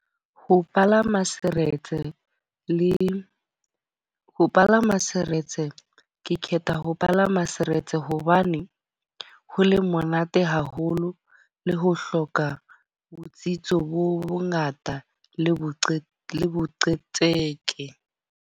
Ho palama saretse le ho palama saretse. Ke kgetha ho palama seretse hobane ho le monate haholo le ho hloka botsitso bo bo ngata le boqe, le boqhetseke.